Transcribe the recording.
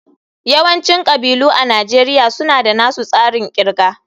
Yawancin kabilu a Najeriya suna da nasu tsarin kirga